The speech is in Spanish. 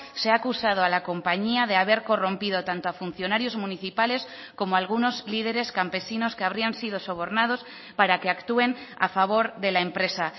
se ha acusado a la compañía de haber corrompido tanto a funcionarios municipales como a algunos líderes campesinos que habrían sido sobornados para que actúen a favor de la empresa